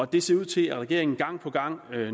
det ser ud til at regeringen gang på gang